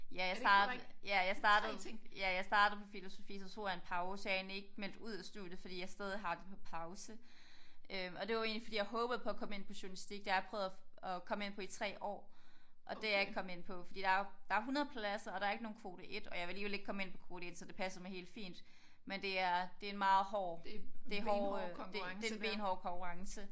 Ja jeg start ja jeg startede ja jeg startede på filosofi så tog jeg en pause og jeg er egentlig ikke meldt ud af studiet fordi jeg stadig har det på pause øh og det var egentlig fordi jeg håbede på at komme ind på journalistik det har jeg prøvet at at komme ind på i 3 år og det er jeg ikke kommet ind på fordi der er jo der er 100 pladser og der er ikke nogen kvote 1 og jeg ville alligevel ikke komme ind på kvote 1 så det passer mig helt fint men det er det en meget hård det hårde øh det det en benhård konkurrence